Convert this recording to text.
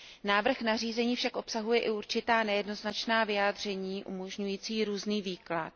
Návrh nařízení však obsahuje i určitá nejednoznačná vyjádření umožňující různý výklad.